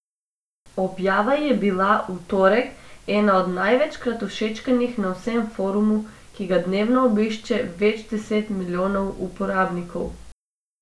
Objava je bila v torek ena od največkrat všečkanih na vsem forumu, ki ga dnevno obišče več deset milijonov uporabnikov.